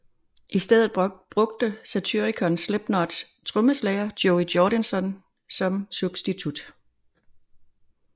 I stedet brugte Satyricon Slipknots trommeslager Joey Jordison som substitut